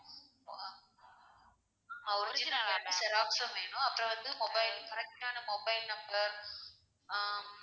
original வேண்டாம் எனக்கு xerox ம் வேணும், அப்பறம் வந்து mobile, correct டான mobile number ஆஹ்